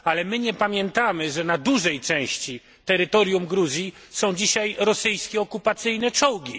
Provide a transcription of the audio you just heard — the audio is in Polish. Ale my nie pamiętamy, że na dużej części terytorium Gruzji są dzisiaj rosyjskie okupacyjne czołgi.